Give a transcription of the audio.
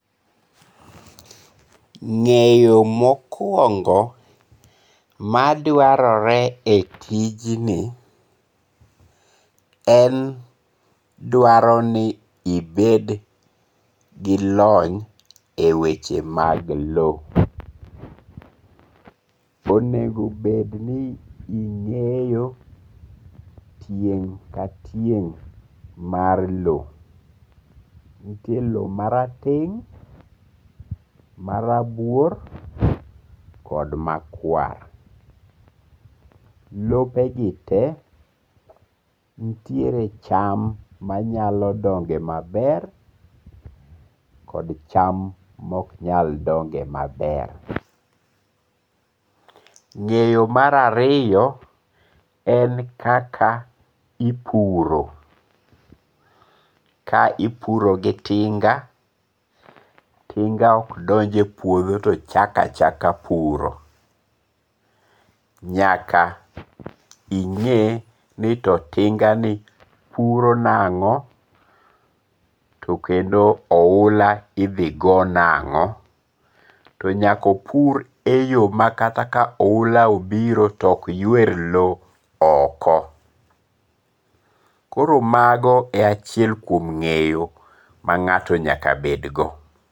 Ng'eyo mokuongo maduarore e tijni en dwaroni ibed gi lony e weche mag low, onego bed ni inge'yo tieng' ka tieng' mar low, nitie low marateng', marabuor kod makwar. Lobegi te nitiere cham manyalo donge' maber kod cham ma ok nyal donge' maber. Ng'eyo mar ariyo en kaka ipuro ka ipuro gi tinga, tinga ok donje puotho to chako achaka puro, nyaka inge' ni to tingani puro nango' to kendo ohula ithi go nango', to nyaka opur e yo ma kata ka oula obiro to okywer low oko koro mago e achiel kuom nge'yo ma nga'to nyaka bedgo.